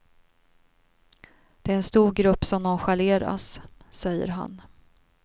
Det är en stor grupp som nonchaleras, säger han.